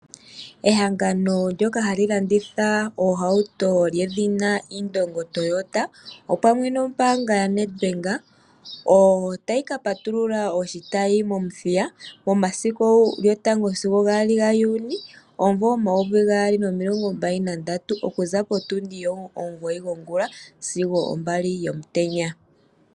Ehangano ndyoka hali landitha oohauto lyedhina Indongo Toyota opamwe nombaanga yaNedbank otayi ka patulula oshitayi mOmuthiya momasiku 1 sigo 2 Juni 2023, okuza potundi ontimugoyi yongula sigo ombali yomutenya.